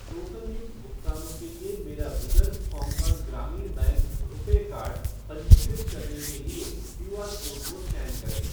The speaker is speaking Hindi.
टोकनयुक्त भुगतानों के लिए मेरा विदर्भ कोंकण ग्रामीण बैंक रुपे कार्ड पंजीकृत करने के लिए क्यूआर कोड को स्कैन करें।